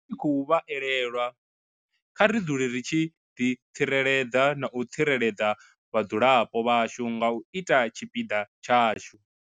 Ri tshi khou vha elelwa, kha ri dzule ri tshi ḓitsireledza na u tsireledza vhadzulapo vhashu nga u ita tshipiḓa tshashu.